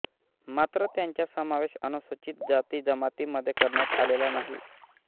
मात्र त्यांचा समावेश अनुसूचित जाती जमातींमध्ये करण्यात आलेला नाही